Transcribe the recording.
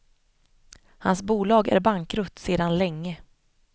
Hans bolag är bankrutt sedan länge.